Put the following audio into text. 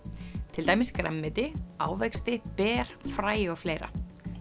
til dæmis grænmeti ávexti ber fræ og fleira